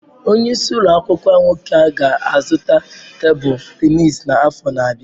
Onye isi ụlọ akwụkwọ nwoke ga-azụta tebụl tenisi n'afọ na-abịa.